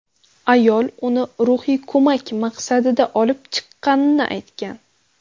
Ayol uni ruhiy ko‘mak maqsadida olib chiqqani aytgan.